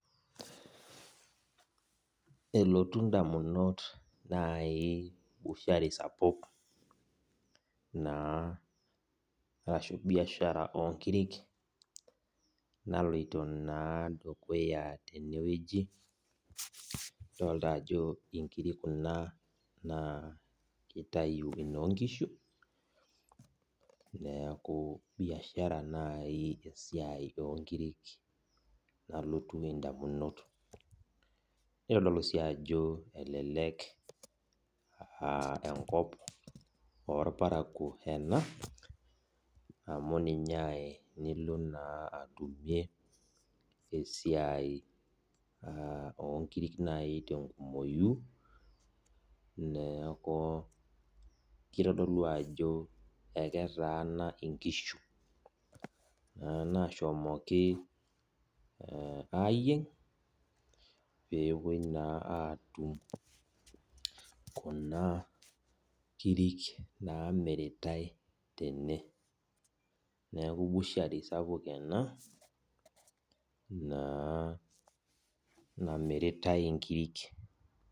Elotu ndamunot nai bushari sapuk arashu biashara onkirik naloito dukuya tenewueji, idolita ajo nkirik kuna na kitayu noonkishu neaku biashara naibesiai onkirik nalotu ndamunot, nitadolu si ajo elelek aa enkop irparakuo ena amu ninye aai nilo na atumie esiai onkirik tenkumoi na kitadolu ajo aketaana nkirik onkishu nashomoki ayieng pepuoi naa atum kuna kirik namiritae tene neaku bushari sapuk ena namiritae nkirik.